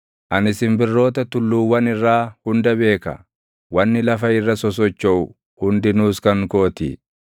Ani simbirroota tulluuwwan irraa hunda beeka; wanni lafa irra sosochoʼu hundinuus kan koo ti.